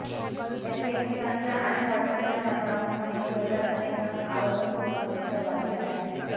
त्याची एकमेकांच्या आणि व्हॉट्सऍपच्या माध्यमातून माहिती मिळताच अनेकजण आवर्जून ग्रुपमध्ये सहभागी झाले आहेत